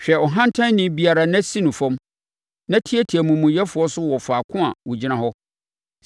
hwɛ ɔhantanni biara na si no fam na tiatia amumuyɛfoɔ so wɔ faako a wɔgyina hɔ.